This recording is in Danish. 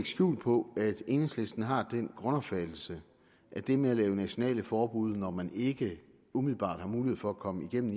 skjul på at enhedslisten har den grundopfattelse at det med at lave nationale forbud når man ikke umiddelbart har mulighed for at komme igennem